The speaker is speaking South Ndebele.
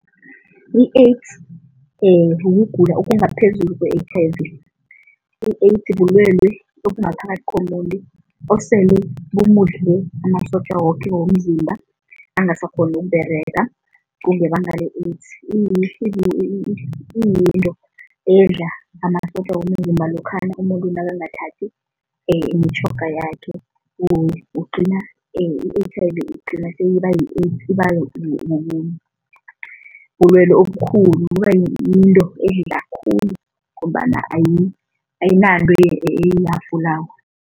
I-AIDS ukugula okungaphezulu kwe-H_I_V. I-AIDS bulwelwe obungaphakathi komuntu osele bumudle amasotja woke womzimba, angasakghoni ukuberega, kungebanga le-AIDS. Iyinto edla amasotja womzimba lokha umuntu nakangathathi imitjhoga yakhe, ugcina i-H_I_V igcina seyiba yi-AIDS ibabulwelwe obukhulu kubayinto khulu ngombana ayinanto